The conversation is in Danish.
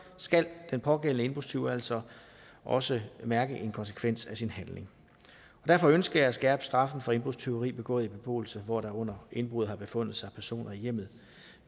skal den pågældende indbrudstyv altså også mærke en konsekvens af sin handling derfor ønsker jeg at skærpe straffen for indbrudstyveri begået i beboelse hvor der under indbruddet har befundet sig personer i hjemmet